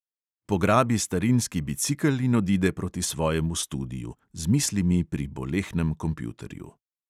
Pograbi starinski bicikel in odide proti svojemu studiu, z mislimi pri bolehnem kompjuterju.